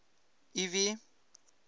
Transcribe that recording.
ivy